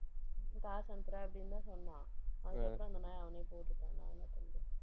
காசு அனுப்புறேன் அப்படின்னுதான் சொன்னான். அதுக்கப்புறம் அவனே போட்டுட்டான். நான் என்ன பண்றது